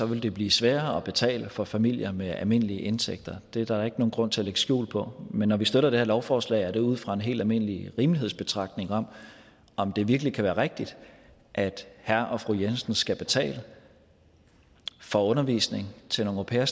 vil det blive sværere at betale for familier med almindelige indtægter det er der ikke nogen grund til at lægge skjul på men når vi støtter det her lovforslag er det ud fra en helt almindelig rimelighedsbetragtning om om det virkelig kan være rigtigt at herre og fru jensen skal betale for undervisning til nogle au pairer